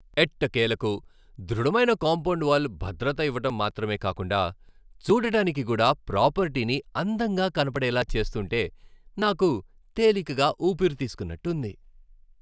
ఎట్టకేలకు ధృడమైన compound wall భద్రత ఇవ్వటం మాత్రమే కాకుండా, చూడడానికి కూడా ప్రాపర్టీని అందంగా కనపడేలా చేస్తుంటే నాకు తేలికగా ఊపిరి తీస్కున్నట్టు ఉంది.